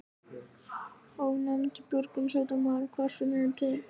Ónefndur björgunarsveitarmaður: Hvar finnurðu til?